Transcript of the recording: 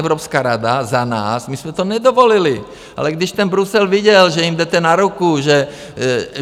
Evropská rada za nás - my jsme to nedovolili, ale když ten Brusel viděl, že jim jdete na ruku, že...